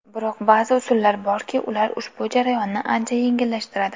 Biroq ba’zi usullar borki, ular ushbu jarayonni ancha yengillashtiradi.